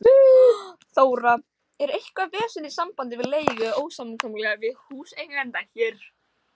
Þóra: Er eitthvað vesen í sambandi við leigu eða ósamkomulag við húseiganda hér?